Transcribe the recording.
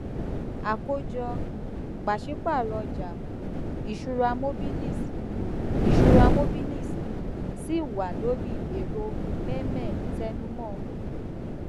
akojọ um paṣipaarọ ọja um iṣura mobilis um iṣura mobilis ṣi wa lori ero mehmel tẹnumọ